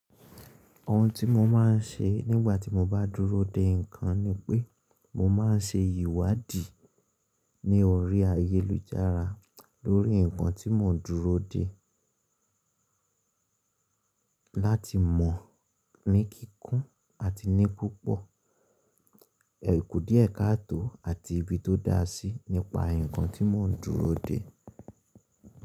Ohun tí mo má n ṣe nígbà tí mo bá dúró de ǹkan ni pé mo má n ṣe ìwádìí ní orí ayélujára lórí ǹkan tí mò ń dúró de láti mọ̀ ní kíkún àti ní púpọ̀, ẹ kù díẹ̀ káàtò àti ibi tó dá sí nípa ǹkan tí mò ń dúró de.